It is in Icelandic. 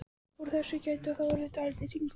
Úr þessu gæti þá orðið dálítill hringur.